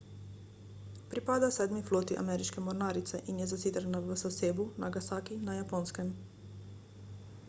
pripada sedmi floti ameriške mornarice in je zasidrana v sasebu nagasaki na japonskem